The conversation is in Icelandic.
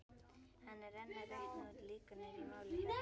Hann er enn að reikna út líkurnar í máli